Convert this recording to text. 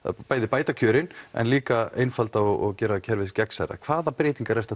bæði bæta kjörin en líka einfalda og gera kerfið gegnsærra hvaða breytingar ert